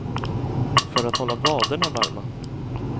För att hålla vaderna varma.